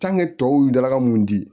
tɔw y'u da ka mun di